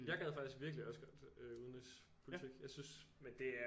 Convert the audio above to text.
Jeg gad faktisk virkelig også godt udenrigspolitik jeg synes men det er